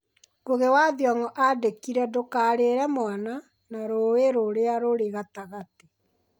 Ngugi wa Thiong'o aandĩkire "Ndũkarire, Mwana" na "Rũũĩ rũrĩa rũrĩ gatagatĩ."